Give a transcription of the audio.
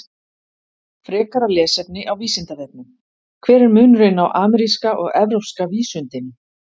Frekara lesefni á Vísindavefnum: Hver er munurinn á ameríska og evrópska vísundinum?